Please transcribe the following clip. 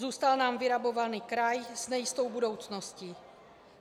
Zůstal nám vyrabovaný kraj s nejistou budoucností.